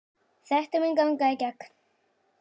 Þetta mun ganga í gegn.